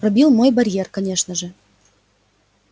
пробил мой барьер конечно же